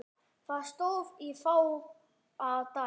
Það stóð í fáa daga.